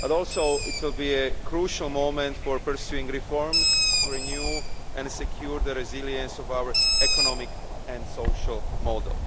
But it will also be a crucial moment for pursuing reforms to renew and secure the resilience of our economic and social model.